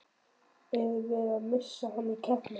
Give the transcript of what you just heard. Erum við að missa hann í keppnina?